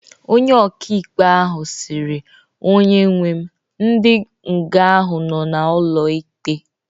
Onye okịikpe ahu sịrị"onye nwe m,ndi nga ahụ nọ na ụlo ikpe